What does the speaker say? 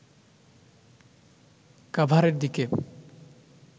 কাভারের দিকে